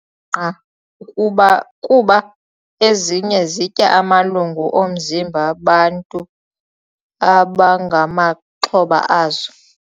qa kuba kuba ezinye zitya amalungu omzimba bantu abangamaxhoba azo.